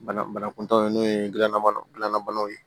Bana banakuntaaw n'o ye gilanna gilan banaw ye